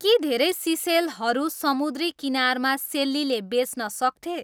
के धेरै सिसेलहरू समुद्री किनारमा सेल्लीले बेच्न सक्थे